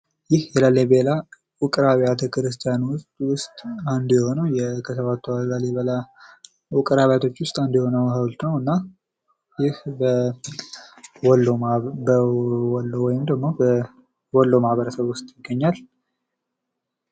ይህ የላሊበላ ውቅር አብያተ ክርስቲያን ውስጥ አንዱ የሆነው ከሰባቱ የላሊበላ ውቅር አብያተ ክርስቲያኖች ውስጥ አንዱ የሆነው ሐውልት ነውና ወሎ ማህበረሰብ ውስጥ ይገኛል።